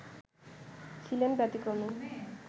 ছিলেন ব্যতিক্রমী